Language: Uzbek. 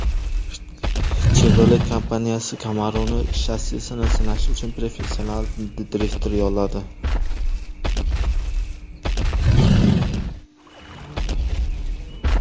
Chevrolet kompaniyasi Camaro‘ning shassisini sinash uchun professional drifter yolladi.